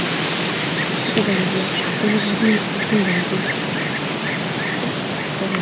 Fotogalereya: Gollivudning oltin davridagi xushbichim aktyorlar.